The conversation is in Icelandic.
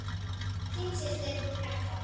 Þín systir, Petra.